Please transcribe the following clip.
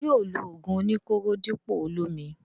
Ṣé yóò lo ògùn oní kóró dípò olómi?